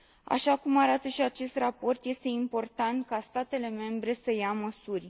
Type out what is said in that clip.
Așa cum arată și acest raport, este important ca statele membre să ia măsuri.